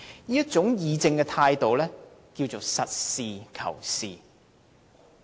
這種議政的態度，名為實事求是。